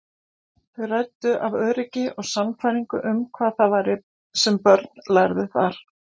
Þau ræddu af öryggi og sannfæringu um hvað það væri sem börn lærðu þar.